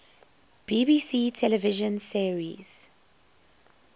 bbc television series